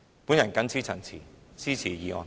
我謹此陳辭，支持議案。